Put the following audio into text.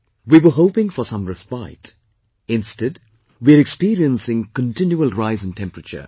We were hoping for some respite, instead we are experiencing continual rise in temperature